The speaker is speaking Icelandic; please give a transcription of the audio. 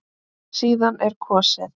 Síðan er kosið.